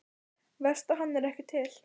Verst að hann er ekki til.